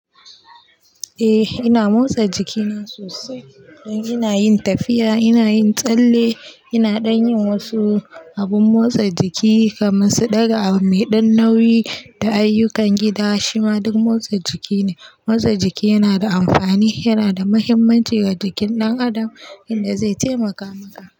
Eh ina motsa jikina sosai, don ina yin tafiya, ina yin tsalle, ina dan yin wasu abun motsa jiki kamar su ɗaga mai ɗan nauyi da ayyukan gida shima duk motsa jiki ne. Motsa jiki yana da amfani, yana da muhimmanci ga jikin ɗan adam, inda zai taimaka maka.